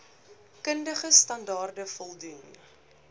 kundige standaarde voldoen